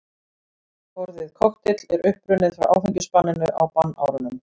Orðið kokteill er upprunnið frá áfengisbanninu á bannárunum.